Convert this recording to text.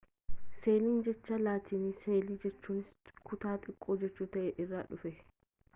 seeliin jecha laatinii seelaa jechuunis kutaa xiqqoo jechu ta'ee irraa dhufee